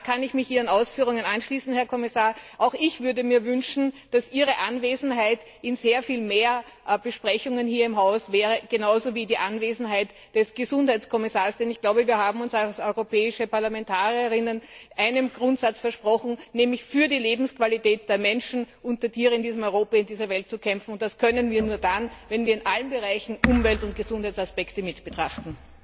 Da kann ich mich Ihren Ausführungen anschließen, Herr Kommissar Auch ich würde mir wünschen, dass Ihre Anwesenheit bei sehr viel mehr Besprechungen hier im Hause gegeben wäre, genauso wie die Anwesenheit des Gesundheitskommissars, denn ich glaube, wir haben uns als europäische Parlamentarier und Parlamentarierinnen einem Grundsatz verpflichtet, nämlich für die Lebensqualität der Menschen und der Tiere in diesem Europa, in dieser Welt zu kämpfen, und das können wir nur dann, wenn wir in allen Bereichen Umwelt und Gesundheitsaspekte mitbetrachten.